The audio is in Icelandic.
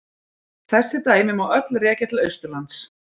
Þessi dæmi má öll rekja til Austurlands.